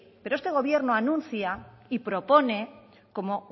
pero este gobierno anuncia y propone como